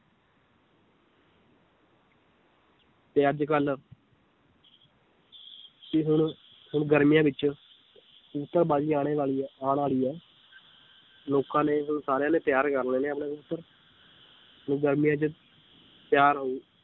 ਤੇ ਅੱਜ ਕੱਲ੍ਹ ਵੀ ਹੁਣ ਹੁਣ ਗਰਮੀਆਂ ਵਿੱਚ ਕਬੂਤਰ ਬਾਜ਼ੀ ਆਉਣੇ ਵਾਲੀ ਹੈ ਆਉਣ ਵਾਲੀ ਹੈ ਲੋਕਾਂ ਨੇ ਹੁਣ ਸਾਰਿਆਂ ਨੇ ਤਿਆਰ ਕਰ ਲੈਣੇ ਆਪਣੇ ਕਬੂਤਰ ਤੇ ਗਰਮੀਆਂ 'ਚ ਤਿਆਰ ਹੋ